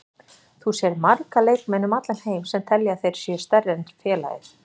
Þú sérð marga leikmenn um allan heim sem telja að þeir séu stærri en félagið.